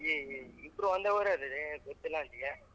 ಏ ಇಬ್ರು ಒಂದೇ ಊರ್ ಅಲ್ಲಾಲೆ ಗೊತ್ತಿಲ್ಲ ಅಂತೀಯ.